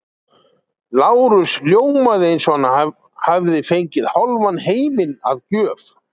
Lárus ljómaði eins og hann hefði fengið hálfan heiminn að gjöf.